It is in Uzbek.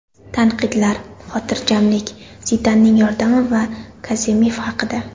Tanqidlar, xotirjamlik, Zidanning yordami va Kazemif haqida.